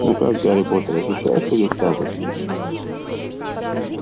ну как гарри поттер ощущаешь прилив храбрости